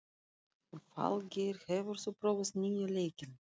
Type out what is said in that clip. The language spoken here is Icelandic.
Falgeir, hefur þú prófað nýja leikinn?